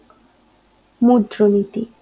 মুদ্রানীতি